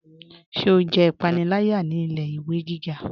Ṣé o jẹ ipanilaya ni ilẹ̀-iwe gíga?